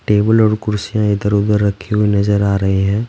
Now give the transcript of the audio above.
Table और कुर्सियाँ इधर-उधर रखे हुए नजर आ रहे हैं ।